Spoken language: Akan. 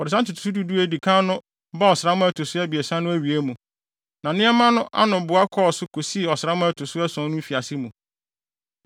Wɔde saa ntotoso du du a edi kan no baa ɔsram a ɛto so abiɛsa no awiei mu, na nneɛma no anoboa kɔɔ so kosii ɔsram a ɛto so ason no mfiase mu.